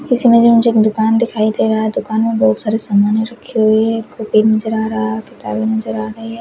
दुकान दिखाई दे रहा है। दुकान में बहोत सारे सामाने रखे हुए है। नजर आ रहा किताबे नजर आ रही है।